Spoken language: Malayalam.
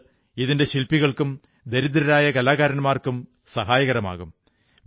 ഇത് ഇതിന്റെ ശില്പികൾക്കും ദരിദ്രരായ കലാകാരന്മാർക്കും സഹായമാകും